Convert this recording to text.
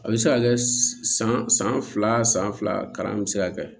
A bɛ se ka kɛ san san fila san san fila kalan bɛ se ka kɛ